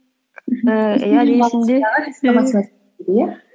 ііі әлі есімде